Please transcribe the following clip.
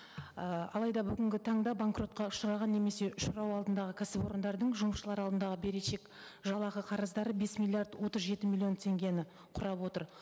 ы алайда бүгінгі таңда банкротқа ұшыраған немесе ұшырау алдындағы кәсіпорындардың жұмысшылар алдындағы берешек жалақы қарыздары бес миллиард отыз жеті миллион теңгені құрап отыр